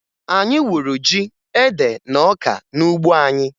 Anyị wuru ji, ede, na ọka n'ugbo anyị